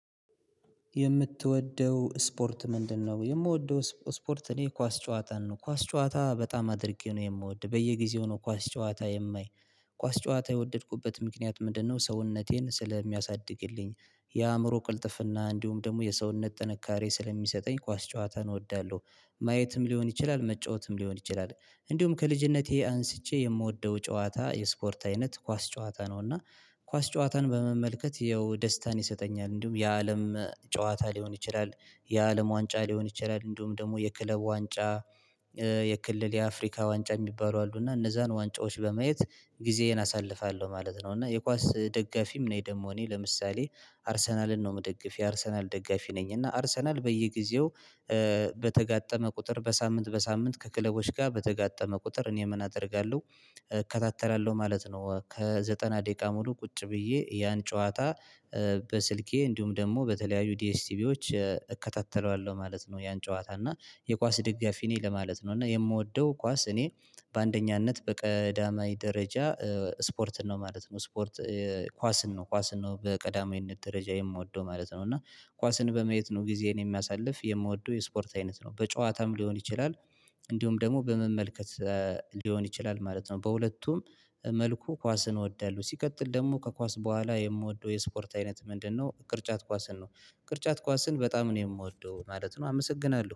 የምትወደው ስፖርት ምንድነው? የምወደው ስፖርት እኔ ኳስ ጨዋታን ነው ኳስ ጨዋታ በጣም አድርጌ ነው የምወድ በየጊዜው ነው ኳስ ጨዋታ የማይ ኳስ ጨዋታ የወደድኩበት ምክንያት ምንድነው ሰውነቴን ስለሚያሳድግልኝ የአእምሮ ቅልጥፍና እንዲሁም ደግሞ የሰውነት ጥንካሬ ስለሚሰጠኝ ኳስ ጨዋታን እወዳለሁ። ማየትም ሊሆን ይችላል መጫወትም ሊሆን ይችላል። እንዲሁም ከልጅነቴ አንስቼ የምወደው ጨዋታ የስፖርት አይነት ኳስ ጨዋታ ነው። እና ኳስ ጨዋታን በመመልከት ይኸው ደስታን ይሰጠኛል እንዲሁም የአለም ጨዋታ ሊሆን ይችላል። የአለም ዋንጫ ሊሆን ይችላል እንደውም ደግሞ የክለብ ዋንጫ የክልል የአፍሪካ ዋንጫ የሚባሉ አሉ እና እነዛን ዋንጫዎች በማየት ጊዜዬን አሳልፋለሁ ማለት ነው። እና የኳስ ደጋፊም ነኝ ደግሞ እኔ ለምሳሌ አርሰናልን ነው የምደግፍ የአርሰናል ደጋፊ ነኝ። እና አርሰናል በየጊዜው በተጋጠመ ቁጥር በሳምንት በሳምንት ከክለቦች ጋር በተጋጠመ ቁጥር እኔ ምን አደርጋለሁ እከታተላለሁ ማለት ነው። ለዘጠና ደቂቃ ሙሉ ቁጭ ብዬ ያን ጨዋታ በስልኬ እንዲሁም ደግሞ በተለያዩ ዲኤስቲቪዎች እከታተለዋለሁ ማለት ነው። ያን ጨዋታ እና የኳስ ደጋፊ ነኝ ለማለት ነው። እና የምወደው ኳስ እኔ በአንደኛነት በቀዳማይ ደረጃ ስፖርትን ነው ማለት ነው። ስፖርት ኳስን ነው ኳስን ነው በቀዳማዊነት ደረጃ የምወደው ማለት ነው። እና ኳስን በመየት ነው ጊዜን የሚያሳልፍ የምወደው የስፖርት አይነት ነው። በጨዋታም ሊሆን ይችላል እንዲሁም ደግሞ በመመልከት ሊሆን ይችላል ማለት ነው። በሁለቱም መልኩ ኳስን እወዳለሁ። ሲቀጥል ደግሞ ከኳስ በኋላ የምወደው የስፖርት አይነት ምንድነው? ቅርጫት ኳስን ነው ቅርጫት ኳስን በጣም ነው የምወደው ማለት ነው። አመሰግናለሁ